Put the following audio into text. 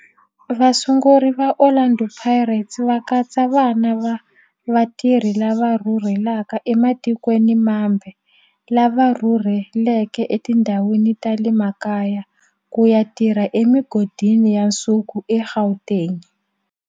Vasunguri va Orlando Pirates va katsa vana va vatirhi lava rhurhelaka ematikweni mambe lava rhurheleke etindhawini ta le makaya ku ya tirha emigodini ya nsuku eGauteng.